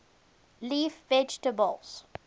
leaf vegetables